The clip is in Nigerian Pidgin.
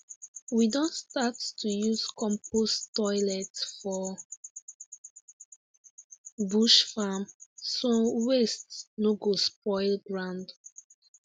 we don start to use compost toilet for bush farm so waste no go spoil ground